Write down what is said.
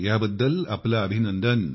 ह्याबद्दल आपले अभिनंदन